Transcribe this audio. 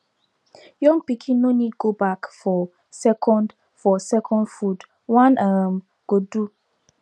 young pikin no need go back for second for second food one um go do